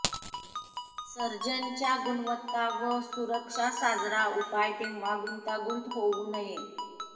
surgeon च्या गुणवत्ता व सुरक्षा साजरा उपाय तेव्हा गुंतागुंत होऊ नये